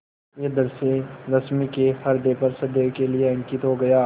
यह दृश्य रश्मि के ह्रदय पर सदैव के लिए अंकित हो गया